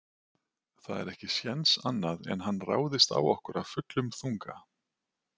Það er ekki séns annað en hann ráðist á okkur af fullum þunga.